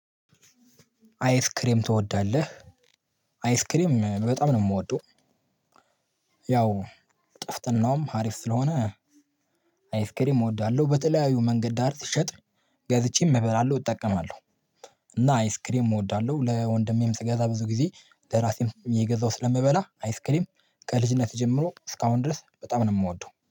አይስክሬም ትወዳለህ? አይስክሬም በጣም ነው የምወደው። ያው ጥፍጥናውም አሪፍ ስለሆነ አይስክሪም እወዳለሁ። በተለያዩ መንገድ ዳር ሲሸጥ ገዝቼም እምበላለሁ እጠቀማለሁ። እና አይስክሬም እወዳለሁ። ለወንድሜም ስገዛ ብዙ ጊዜ ለራሴም እየገዛው ስለምበላ አይስክሪም ከልጅነት ጀምሮ እስካሁን ድረስ በጣም ነው የምወደው